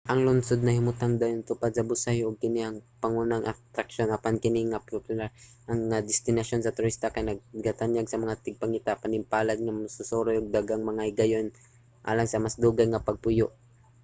ang lungsod nahimutang dayon tupad sa busay ug kini ang pangunang atraksyon apan kini nga popular nga destinasyon sa turista kay nagatanyag sa mga tigpangita sa panimpalad ug mga magsusuroy og daghang mga higayon alang sa mas dugay nga pagpuyo